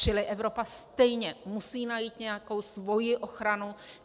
Čili Evropa stejně musí najít nějakou svoji ochranu.